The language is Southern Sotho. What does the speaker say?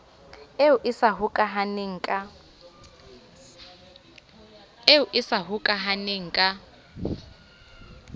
eo e sa hokahaneng ka